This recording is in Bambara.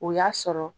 O y'a sɔrɔ